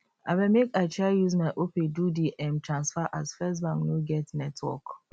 abeg make i try use my opay do the um transfer as firstbank no get network